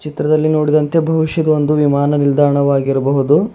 ಚಿತ್ರದಲ್ಲಿ ನೋಡಿದಂತೆ ಬಹುಷ್ಯ ಇದೊಂದು ವಿಮಾನ ನಿಲ್ದಾಣವಾಗಿರಬಹುದು.